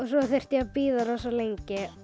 svo þurfti ég að bíða rosa lengi